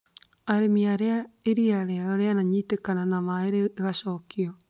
Arĩmi arĩa iria rĩao rĩanitĩkana na maĩ rĩgacokio